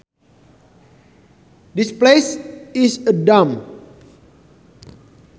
This place is a dump